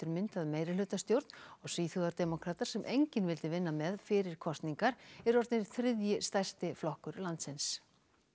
myndað meirihlutastjórn og Svíþjóðardemókratar sem enginn vildi vinna með fyrir kosningar eru orðnir þriðji stærsti flokkur landsins